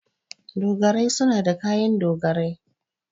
Dogarai suna da kayan dogarai.